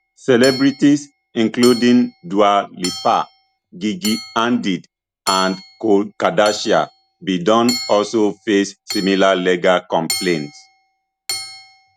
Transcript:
celebrities including dua lipa gigi hadid and khloe kardashian bin don also face similar legal complaints